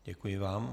Děkuji vám.